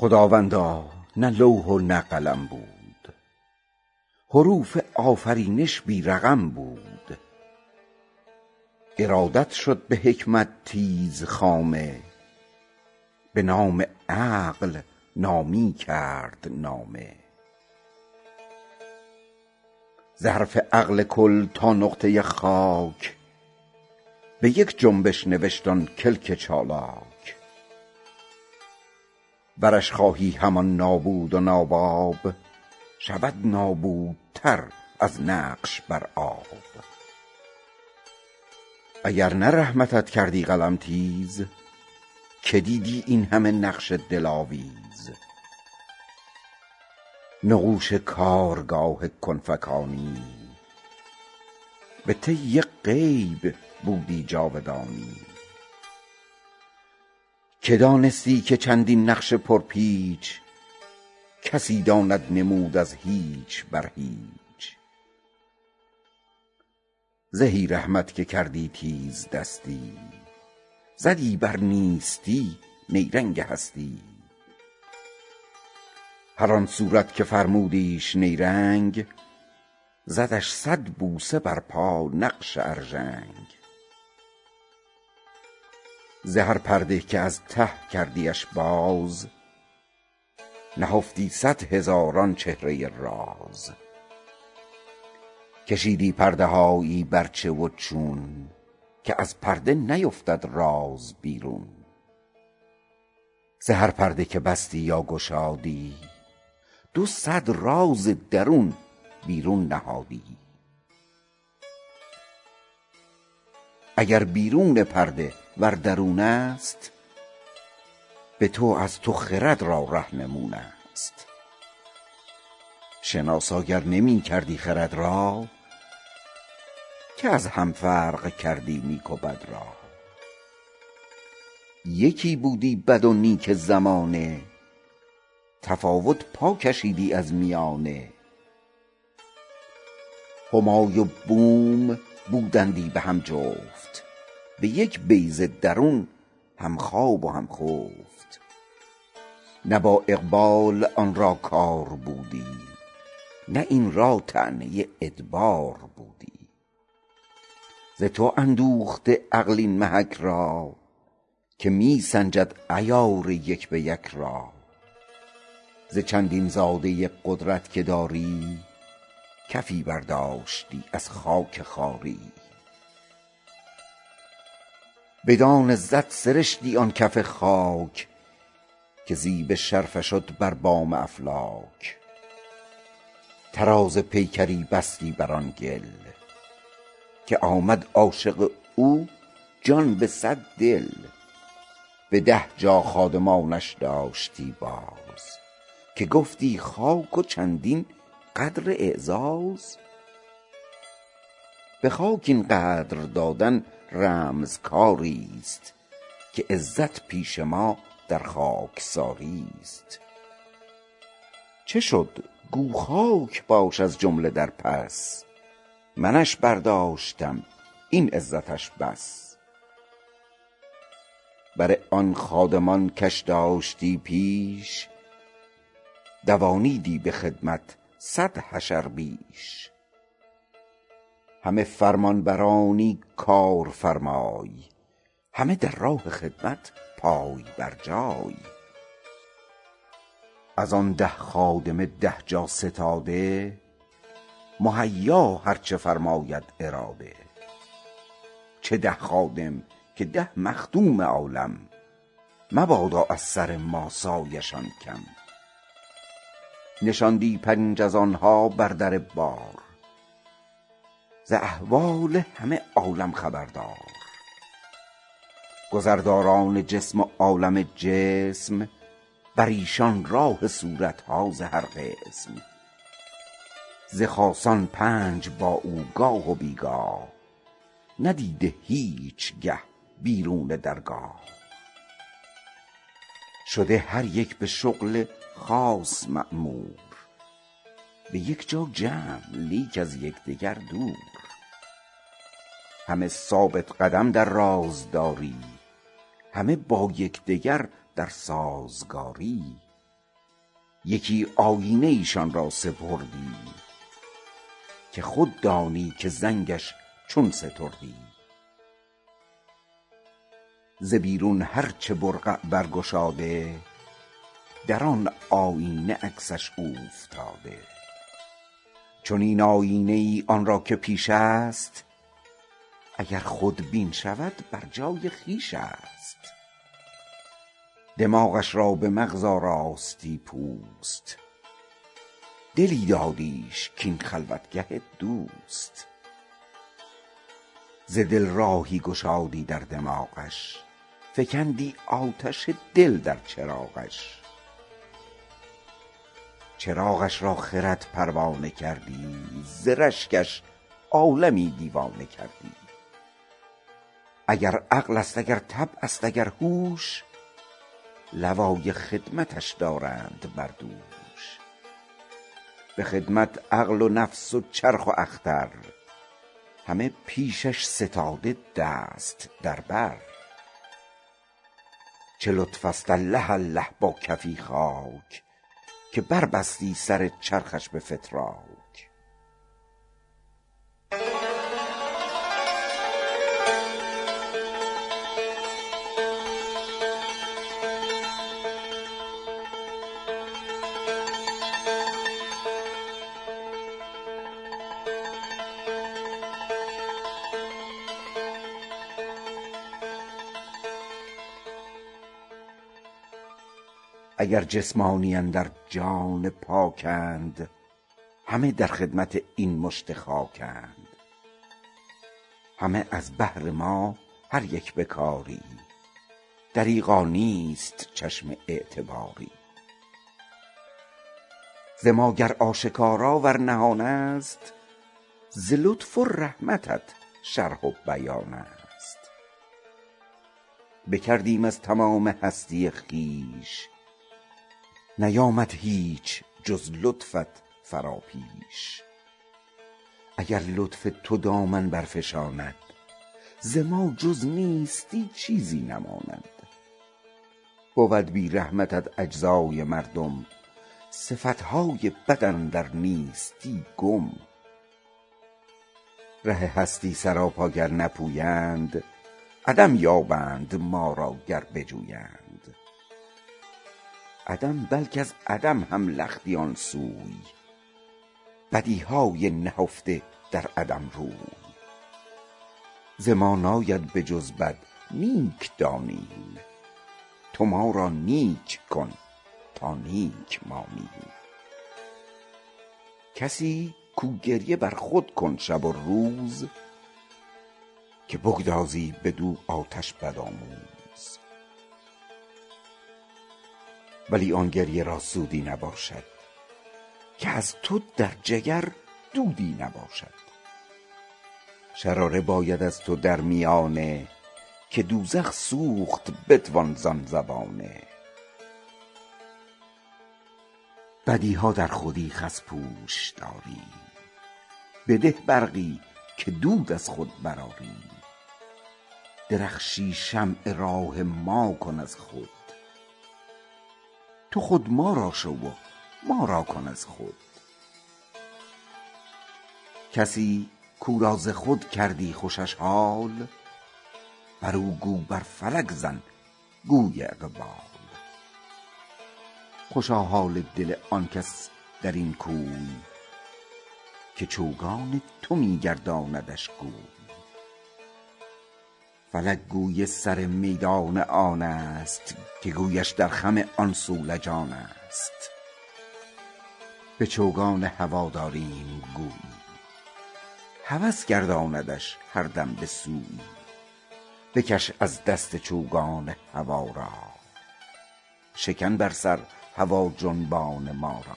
خداوندا نه لوح و نه قلم بود حروف آفرینش بی رقم بود ارادت شد به حکمت تیز خامه به نام عقل نامی کرد نامه ز حرف عقل کل تا نقطه خاک به یک جنبش نوشت آن کلک چالاک ورش خواهی همان نابود و ناباب شود نابودتر از نقش بر آب اگر نه رحمتت کردی قلم تیز که دیدی اینهمه نقش دلاویز نقوش کارگاه کن فکانی به طی غیب بودی جاودانی که دانستی که چندین نقش پر پیچ کسی داند نمود از هیچ بر هیچ زهی رحمت که کردی تیز دستی زدی بر نیستی نیرنگ هستی هر آن صورت که فرمودیش نیرنگ زدش سد بوسه بر پا نقش ارژنگ ز هر پرده که از ته کردیش باز نهفتی سد هزاران چهره راز کشیدی پرده هایی بر چه و چون که از پرده نیفتد راز بیرون ز هر پرده که بستی یا گشادی دو سد راز درون بیرون نهادی اگر بیرون پرده ور درون است بتو از تو خرد را رهنمون است شناسا گر نمی کردی خرد را که از هم فرق کردی نیک و بد را یکی بودی بد و نیک زمانه تفاوت پاکشیدی از میانه همای و بوم بودندی بهم جفت به یک بیضه درون همخواب و همخفت نه با اقبال آن را کار بودی نه این را طعنه ادبار بودی ز تو اندوخته عقل این محک را که می سنجد عیار یک به یک را ز چندین زاده قدرت که داری کفی برداشتی از خاک خواری به دان عزت سرشتی آن کف خاک که زیب شرفه شد بر بام افلاک طراز پیکری بستی بر آن گل که آمد عاشق او جان به سد دل به ده جا خادمانش داشتی باز که گفتی خاک و چندین قدر اعزاز به خاک این قدر دادن رمز کاریست که عزت پیش ما در خاکساریست چه شد گو خاک باش از جمله در پس منش برداشتم این عزتش بس بر آن خادمان کش داشتی پیش دوانیدی به خدمت سد حشر بیش همه فرمان برانی کارفرمای همه در راه خدمت پای برجای از آن ده خادم ده جا ستاده مهیا هر چه فرماید اراده چه ده خادم که ده مخدوم عالم مبادا از سر ما سایه شان کم نشاندی پنج از آنها بر در بار ز احوال همه عالم خبردار گذر داران جسم و عالم جسم بر ایشان راه صورتها ز هر قسم ز خاصان پنج با او گاه و بیگاه ندیده هیچگه بیرون درگاه شده هر یک به شغل خاص مأمور به یک جا جمع لیک از یکدگر دور همه ثابت قدم در راز داری همه با یکدیگر درسازگاری یکی آیینه ایشان را سپردی که خود دانی که زنگش چون ستردی ز بیرون هر چه برقع برگشاده در آن آیینه عکسش اوفتاده چنین آیینه ای آنرا که پیش است اگر خود بین شود برجای خویش است دماغش را به مغز آراستی پوست دلی دادیش کاین خلوتگه دوست ز دل راهی گشادی در دماغش فکندی آتش دل در چراغش چراغش را خرد پروانه کردی ز رشکش عالمی دیوانه کردی اگر عقل است اگر طبع است اگر هوش لوای خدمتش دارند بر دوش به خدمت عقل و نفس و چرخ و اختر همه پیشش ستاده دست در بر چه لطف است اله اله با کفی خاک که بربستی سر چرخش به فتراک اگر جسمانید ار جان پا کند همه در خدمت این مشت خاکند همه از بهر ما هر یک به کاری دریغا نیست چشم اعتباری ز ما گر آشکارا ور نهان است ز لطف و رحمتت شرح و بیان است بکردیم از تمام هستی خویش نیامد هیچ جز لطفت فرا پیش اگر لطف تو دامن برفشاند ز ما جز نیستی چیزی نماند بود بی رحمتت اجزای مردم صفتهای بد اندر نیستی گم ره هستی سراپا گر نپویند عدم یابند ما را گر بجویند عدم بلک از عدم هم لختی آنسوی بدیهای نهفته در عدم روی ز ما ناید به جز بد نیک دانیم تو ما را نیک کن تا نیک مانیم کسی کو گریه برخود کن شب و روز که بگذاری بدو آتش بدآموز ولی آن گریه را سودی نباشد که از تو در جگر دودی نباشد شراری باید از تو در میانه که دوزخ سوخت بتوان زان زبانه بدیها در خودی خس پوش داریم بده برقی که دود از خود برآریم درخشی شمع راه ماکن از خود تو خود ما را شو و مارا کن از خود کسی کو را ز خود کردی خوشش حال برو گو بر فلک زن کوی اقبال خوشا حال دل آن کس در این کوی که چوگان تو می گرداندش گوی فلک گوی سر میدان آنست که گویش در خم آن صولجانست به چوگان هوا داریم گویی هوس گرداندش هر دم به سویی بکش از دست چوگان هوا را شکن بر سر هوا جنبان ما را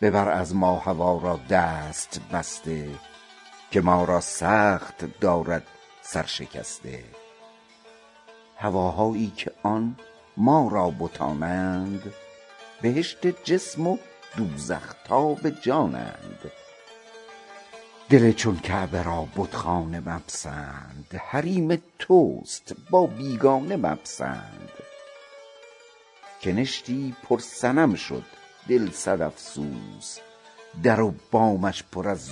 ببر از ما هوا را دست بسته که ما را سخت دارد سر شکسته هواهایی که آن ما را بتانند بهشت جسم و دوزخ تاب جانند دل چون کعبه را بتخانه مپسند حریم تست با بیگانه مپسند کنشتی پر صنم شد دل سد افسوس در و بامش پر از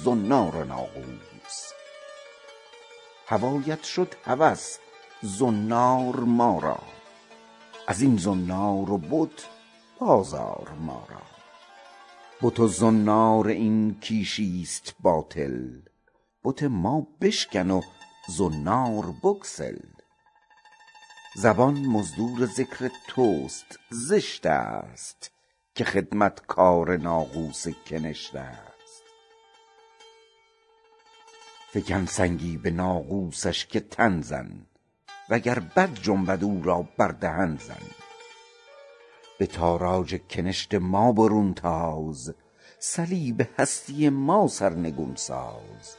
زنار و ناقوس هوایت شد هوس زنار ما را ازین زنار و بت باز آر مارا بت و زنار این کیشی ست باطل بت ما بشکن و زنار بگسل زبان مزدور ذکر تست زشت است که خدمتکار ناقوس کنشت است فکن سنگی به ناقوسش که تن زن وگر بد جنبد او را بر دهن زن به تاراج کنشت ما برون تاز صلیب هستی ما سر نگون ساز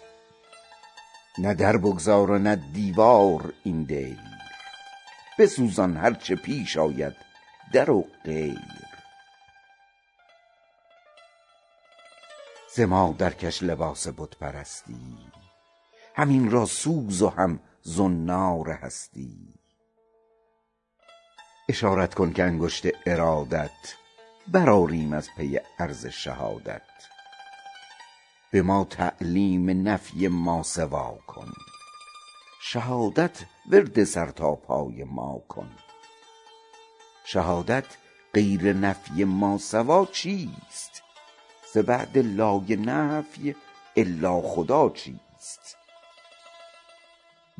نه در بگذار و نه دیوار این دیر بسوزان هر چه پیش آید در و غیر ز ما درکش لباس بت پرستی هم این را سوز و هم زنار هستی اشارت کن که انگشت ارادات برآریم از پی عرض شهادت به ما تعلیم نفی ماسوا کن شهادت ورد سرتا پای ماکن شهادت غیر نفی ماسوا چیست ز بعد لای نفی الا خدا چیست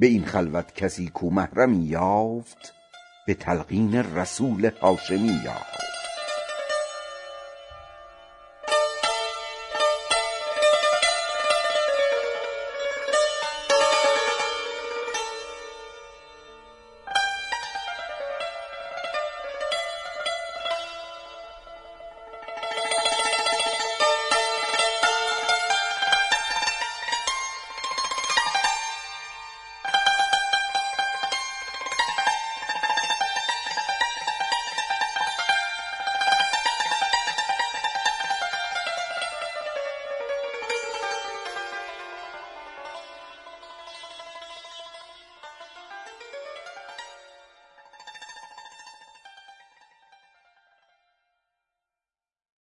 به این خلوت کسی کو محرمی یافت به تلقین رسول هاشمی یافت